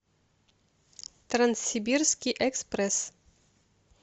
транссибирский экспресс